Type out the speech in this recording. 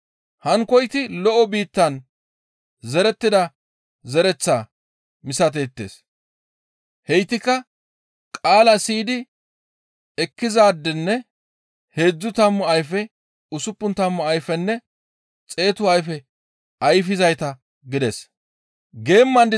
Hankkoyti lo7o biittan zerettida zereththaa misateettes; heytikka qaalaa siyidi ekkizaadenne heedzdzu tammu ayfe, usuppun tammu ayfenne xeetu ayfe ayfizayta» gides.